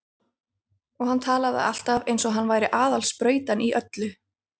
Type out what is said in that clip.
Og hann talaði alltaf eins og hann væri aðal sprautan í öllu.